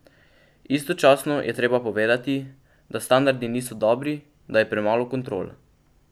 Istočasno je treba povedati, da standardi niso dobri, da je premalo kontrol.